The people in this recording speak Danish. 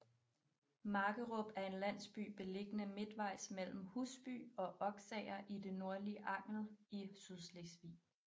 Markerup er en landsby beliggende midtvejs mellem Husby og Oksager i det nordlige Angel i Sydslesvig